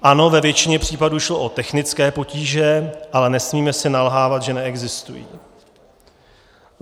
Ano, ve většině případů šlo o technické potíže, ale nesmíme si nalhávat, že neexistují.